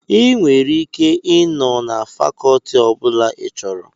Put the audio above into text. Ị nwere ike ị nọ na fakọtị ọbụla ị chọrọ